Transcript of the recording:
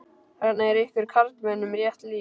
Þarna er ykkur karlmönnum rétt lýst.